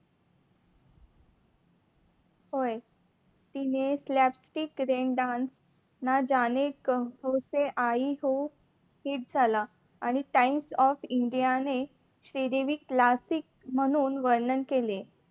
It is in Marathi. तिने plastic Rain Dance ना जाने कहा से आई हु hit झाला आणि टाईम्स ऑफ इंडियाने श्रीदेवी classic म्हणून वर्णन केले.